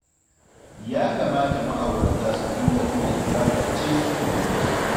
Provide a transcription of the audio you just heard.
Ya kamata ma'aurata su dinga tuna ibada ce suke yi.